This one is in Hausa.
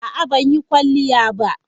A'a, ban yi kwalliya ba.